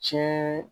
Tiɲɛ